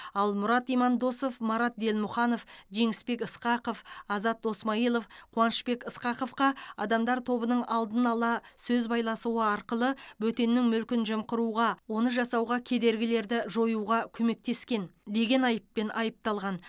ал мұрат имандосов марат делмұханов жеңісбек ысқақов азат досмайылов қуанышбек ысқақовқа адамдар тобының алдын ала сөз байласуы арқылы бөтеннің мүлкін жымқыруға оны жасауға кедергілерді жоюға көмектескен деген айыппен айыпталған